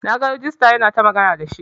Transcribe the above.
Na gan regista yana ta magana da shi.